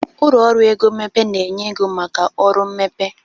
Ụlọ ọrụ ego mmepe na-enye ego maka ọrụ mmepe